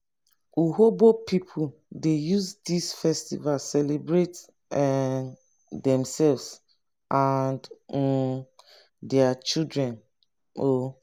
urhobo pipu dey use dis festival celebrate um demsef and um their community. um